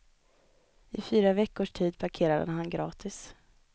I fyra veckors tid parkerade han gratis.